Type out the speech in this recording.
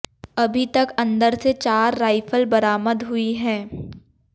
अभी तक अंदर से चार राइफल बरामद हुई हैं